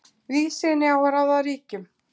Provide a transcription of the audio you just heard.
Víðsýni á að ráða ríkjum.